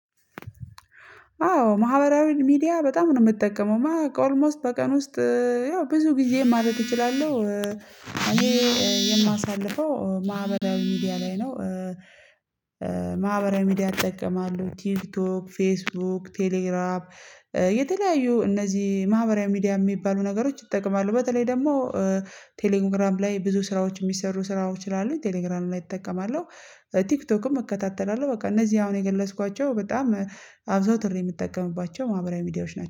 አዎ ማህበራዊ ሚዲያ በጣም ነው የምጠቀመው ኦልሞስት በቀን ውስጥ ያው ብዙ ጊዜ ማለት እችላለሁ። እኔ የማሳልፈው ማህበራዊ ሚዲያ ላይ ነው። ሚዲያ እጠቀማለሁ ቲክቶክ ፌስቡክ ቴሌግራም የተለያዩ እነዚህ ማህበራዊ ሚዲያ የሚባሉ ነገሮች እጠቀማለሁ በተለይ ደግሞ ቴሌግራም ላይ ብዙ ስራዎች የሚሰሩ ስራዎች ስላሉ ቴሌግራም ላይ እጠቀማለሁ። ቲክቶክም እከታተላለሁ በቃ እነዚህ አሁን የገለጽኳቸው በጣም አዘውትሬ የምትጠቀምባቸው ማህበራዊ ሚዲያዎች ናቸው